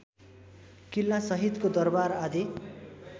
किल्लासहितको दरबार आदि